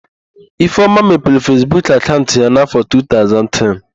Ifeoma mepere Fesbuk akaụnt ya n'áfọ̀ 2010.